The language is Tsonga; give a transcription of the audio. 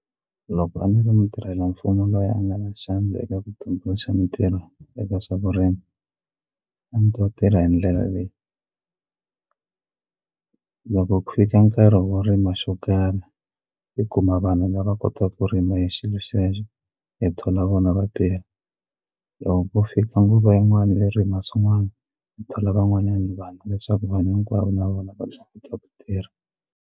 Loko a ni ri mutirhelamfumo loyi a nga na xandla eka ku tumbuluxa mitirho eka swa vurimi a ndzi ta tirha hi ndlela leyi loko ku fika nkarhi wo rima xo karhi i kuma vanhu lava kotaku ku rima hi xilo xexo i thola vona va tirha loko ko fika nguva yin'wana yo rima swin'wani i thola van'wanyana vanhu leswaku vanhu hinkwavo na vona va ta kota ku tirha.